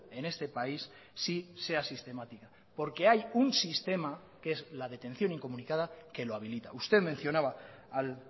en este país sí sea sistemática porque hay un sistema que es la detención incomunicada que lo habilita usted mencionaba al